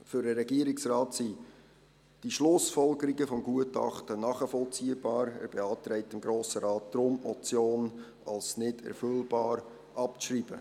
Für den Regierungsrat sind die Schlussfolgerungen des Gutachtens nachvollziehbar, und er beantragt dem Grossen Rat deshalb, die Motion als nicht erfüllbar abzuschreiben.